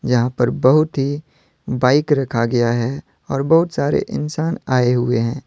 यहां पर बहुत ही बाइक रखा गया है और बहुत सारे इंसान आए हुए हैं।